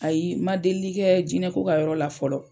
Ayi, ma delili kɛ jinɛ ko ka yɔrɔ la fɔlɔ.